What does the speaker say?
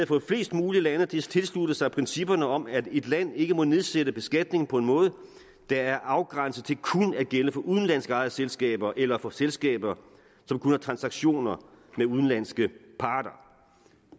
få flest mulige lande til at tilslutte sig principperne om at et land ikke må nedsætte beskatningen på en måde der er afgrænset til kun at gælde for udenlandsk ejede selskaber eller for selskaber som kun har transaktioner med udenlandske parter